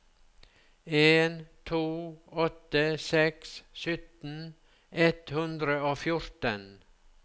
en to åtte seks sytten ett hundre og fjorten